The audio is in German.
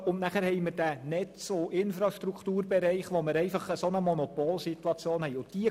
Dann haben wir den Netz- und Infrastrukturbereich, in dem eine Monopolsituation besteht.